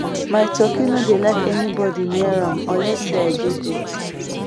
my turkey no dey like anybody near am unless say i dey there